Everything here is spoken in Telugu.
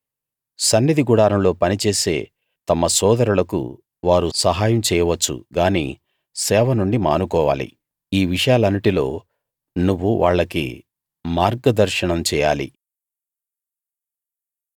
సన్నిధి గుడారంలో పని చేసే తమ సోదరులకు వారు సహాయం చేయవచ్చు గానీ సేవ నుండి మానుకోవాలి ఈ విషయాలన్నిటిలో నువ్వు వాళ్లకి మార్గ దర్శనం చేయాలి